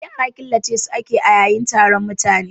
Yara killace su ake yayi taron mutuwa